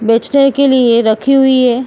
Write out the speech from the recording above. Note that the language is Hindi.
बेचने के लिए रखी हुई है।